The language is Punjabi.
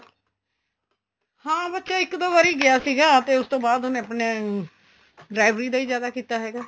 ਹਾਂ ਬੱਚਾ ਇੱਕ ਦੋ ਵਾਰੀ ਗਿਆ ਸੀਗਾ ਤੇ ਉਸ ਤੋਂ ਬਾਅਦ ਉਹਨੇ ਆਪਣੇ driver ਦਾ ਹੀ ਜਿਆਦਾ ਕੀਤਾ ਹੈਗਾ